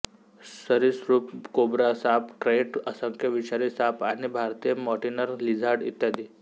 सरीसृप कोब्रा साप क्रैट असंख्य विषारी साप आणि भारतीय मॉनिटर लिझार्ड इ